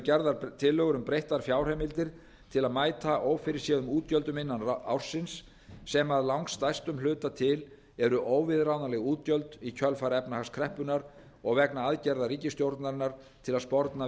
gerðar tillögur um breyttar fjárheimildir til að mæta ófyrirséðum útgjöldum innan ársins sem að langstærstum hluta til eru óviðráðanleg útgjöld í kjölfar efnahagskreppunnar og vegna aðgerða ríkisstjórnarinnar til að sporna við